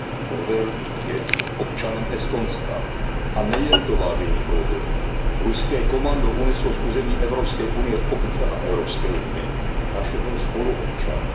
Kohver je občanem Estonska. A nejen to, vážení kolegové, ruské komando uneslo z území Evropské unie občana Evropské unie, našeho spoluobčana.